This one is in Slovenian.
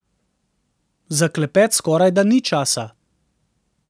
Za klepet skorajda ni časa.